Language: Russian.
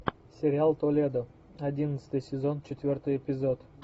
сериал толедо одиннадцатый сезон четвертый эпизод